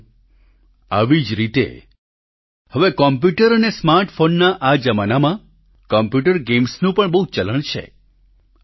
સાથીઓ આવી જ રીતે હવે કોમ્પ્યુટર અને સ્માર્ટફોનના આ જમાનામાં કોમ્પ્યુટર ગેમ્સનું પણ બહુ ચલણ છે